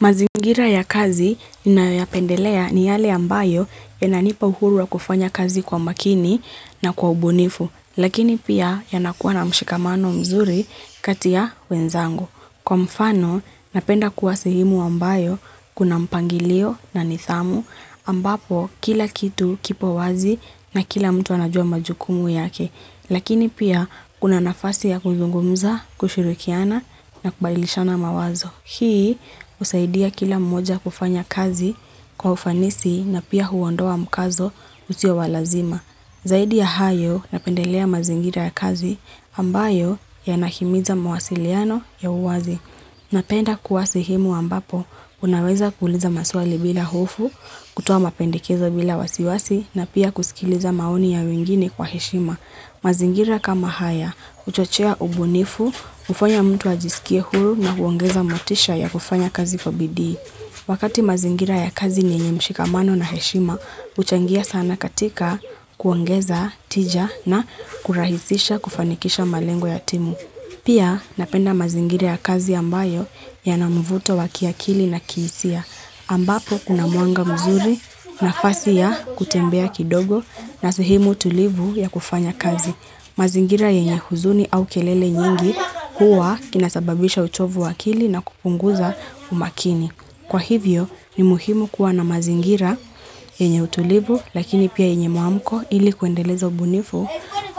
Mazingira ya kazi inayoyapendelea ni yale ambayo yananipa uhurua kufanya kazi kwa makini na kwa ubunifu, lakini pia yanakuwa na mshikamano mzuri katia wenzangu. Kwa mfano, napenda kuwa sihemu ambayo kuna mpangilio na nidhamu, ambapo kila kitu kipo wazi na kila mtu anajua majukumu yake, lakini pia kuna nafasi ya kuzungumza, kushurikiana na kubailishana mawazo. Hii usaidia kila mmoja kufanya kazi kwa ufanisi na pia huondoa mkazo husio walazima. Zaidi ya hayo napendelea mazingira ya kazi ambayo yanahimiza mawasiliano ya uwazi. Napenda kuwa sehemu ambapo unaweza kuhuliza maswali bila hufu, kutua mapendikezo bila wasiwasi na pia kusikiliza maoni ya wingini kwa heshima. Mazingira kama haya, uchochea ubunifu, ufanya mtu ajisikie huru na huongeza matisha ya kufanya kazi kwa BDI. Wakati mazingira ya kazi nienye mshikamano na heshima, uchangia sana katika kuongeza, tija na kurahisisha kufanikisha malengo ya timu. Pia napenda mazingire ya kazi ambayo ya na mvuto wa kiakili na kiisia. Ambapo kuna mwanga mzuri nafasi ya kutembea kidogo na sehemu tulivu ya kufanya kazi. Mazingira yenye huzuni au kelele nyingi kuwa kinasababisha uchovu wa kili na kupunguza umakini. Kwa hivyo ni muhimu kuwa na mazingira yenye utulivu lakini pia yenye muamko ili kuendeleza ubunifu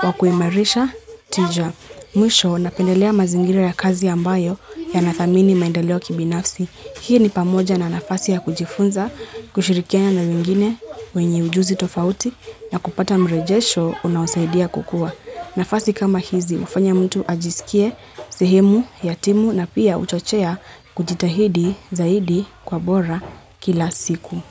wa kuimarisha tija. Mwisho napendelea mazingire ya kazi ambayo ya na dhamini maendeleo kibinafsi. Hii ni pamoja na nafasi ya kujifunza, kushirikia na mwingine wenye ujuzi tofauti na kupata mrejesho unausaidia kukua. Nafasi kama hizi ufanya mtu ajisikie, sehemu, ya timu na pia uchochea kujitahidi zaidi kwa bora kila siku.